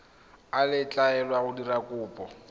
a letlelelwa go dira kopo